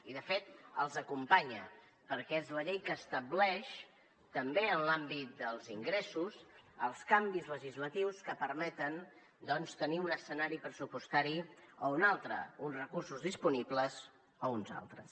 i de fet els acompanya perquè és la llei que estableix també en l’àmbit dels ingressos els canvis legislatius que permeten doncs tenir un escenari pressupostari o un altre uns recursos disponibles o uns altres